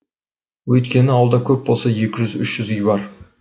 өйткені ауылда көп болса екі жүз үш жүз үй бар